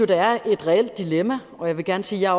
der er et reelt dilemma og jeg vil gerne sige at